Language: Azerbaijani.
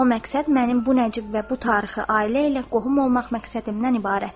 O məqsəd mənim bu nəcib və bu tarixi ailə ilə qohum olmaq məqsədimdən ibarətdir.